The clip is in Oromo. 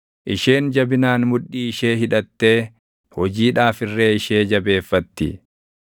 Isheen jabinaan mudhii ishee hidhattee hojiidhaaf irree ishee jabeeffatti.